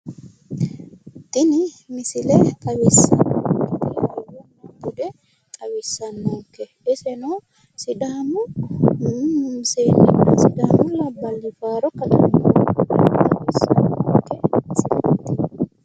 Tini misile xawissannohu budenna hayyo xawissannonke iseno sidaamu seennenna sidaamu labballi faaro kadanna xawissannonke misileeti